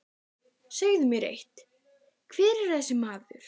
Segðu mér eitt, hver er þessi maður?